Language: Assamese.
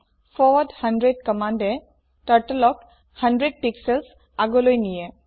ফৰৱাৰ্ড 100 কম্মান্দে Turtleক 100 পিক্সেলছ আগলৈ নিয়ে